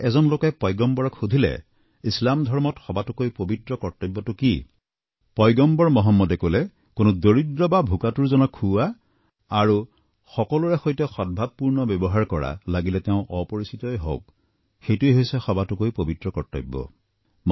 এবাৰ এজন লোকে পয়গম্বৰক সুধিলে যে ইছলাম ধৰ্মত সবাতোকৈ পবিত্ৰ কৰ্মটো কি পয়গম্বৰ মহম্মদে কলে কোনো দৰিদ্ৰ বা ভোকাতুৰজনক খুওৱা আৰু সকলোৰে সৈতে সদভাৱপূৰ্ণ ব্যৱহাৰ কৰা লাগিলে তেওঁ অপৰিচিতই হওক সেইটোৱেই হৈছে সবাতোকৈ পবিত্ৰ কৰ্তব্য